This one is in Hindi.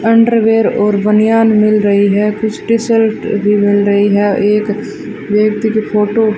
अंडरवियर और बनियान मिल रही है कुछ टी-सल्ट भी मिल रही है एक व्यक्ति की फोटो --